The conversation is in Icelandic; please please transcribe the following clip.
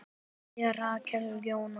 Kveðja, Rakel Jóna.